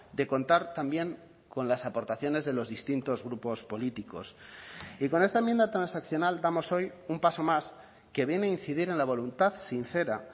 de contar también con las aportaciones de los distintos grupos políticos y con esta enmienda transaccional damos hoy un paso más que viene incidir en la voluntad sincera